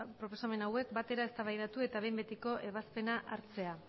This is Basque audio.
proposamen hauek batera eztabaidatu eta behin betiko ebazpena hartzea